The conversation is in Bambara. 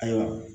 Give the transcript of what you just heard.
Ayiwa